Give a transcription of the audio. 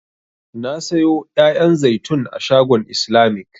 Na sayo 'ya'yan zaitun a shagon islamic.